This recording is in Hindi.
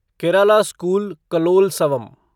केराला स्कूल कलोलसवम